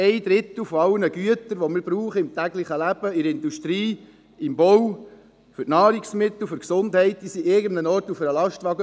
Ein Drittel aller Güter, die wir im täglichen Leben brauchen, in der Industrie, im Bau, als Nahrungsmittel, für die Gesundheit, sind irgendwo auf einem Lastwagen;